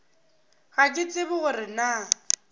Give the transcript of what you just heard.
ga ke tsebe gore na